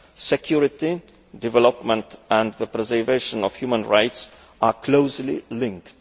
Security, development and the preservation of human rights are closely linked.